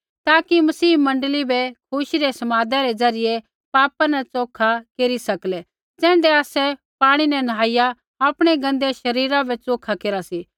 ताकि मसीह मण्डली बै खुशी रै समादा रै ज़रियै पापा न च़ोखा केरी सकलै ज़ैण्ढै आसै पाणी न निहाईया आपणै गन्दै शरीरा बै च़ोखा केरा सी